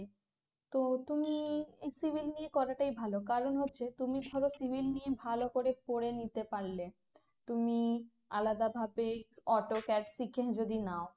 তো তুমি এই civil নিয়ে করাটাই ভালো কারণ হচ্ছে তুমি ধরো civil নিয়ে ভালো করে পড়ে নিতে পারলে তুমি আলাদা ভাবে autocad শিখে যদি নাও